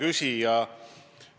Hea küsija!